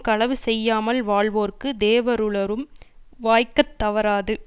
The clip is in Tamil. களவு செய்யாமல் வாழ்வோர்க்கு தேவருலரும் வாய்க்கத் தவறாது